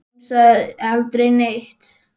En hún sagði aldrei neitt.